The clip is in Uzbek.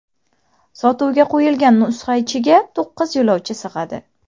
Sotuvga qo‘yilgan nusxa ichiga to‘qqiz yo‘lovchi sig‘adi.